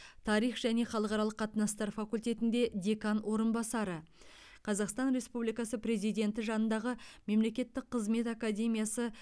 тарих және халықаралық қатынастар факультетінде декан орынбасары қазақстан республикасы президенті жанындағы мемлекеттік қызмет академиясы